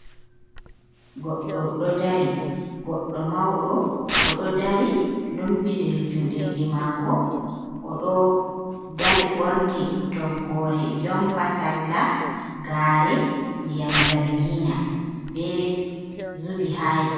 Goɗɗo ɗo dari goɗɗo mauɗo oɗo dari lumbi diri juɗeji mako oɗo dari ɓorni toggore jompa salla gare ndiyam zargina be zubi ha ye.